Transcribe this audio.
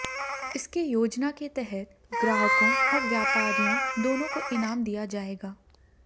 इसके योजना के तहत ग्राहकों और व्यापारियों दोनों को इनाम दिया जाएगा